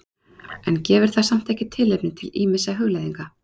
En gefur það samt ekki tilefni til ýmissa hugleiðinga?